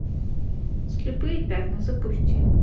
слепые пятна запусти